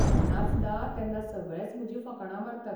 हांव नाचता तेन्ना सगळेच म्हजीं फकाणां मारतात.